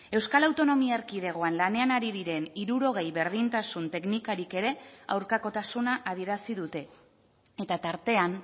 euskal autonomia erkidegoan lanean ari diren hirurogei berdintasun teknikarik ere aurkakotasuna adierazi dute eta tartean